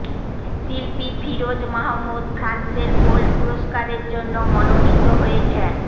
শিল্পী ফিরোজ মাহমুদ ফ্রান্সের কোল পুরষ্কারের জন্য মনোনীত হয়েছেন